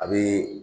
A bɛ